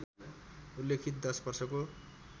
उल्लिखित दश वर्षको